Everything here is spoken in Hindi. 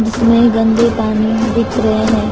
जिसमें गंदे पानी दिख रहे हैं।